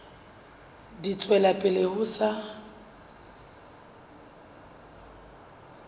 di tswela pele ho sa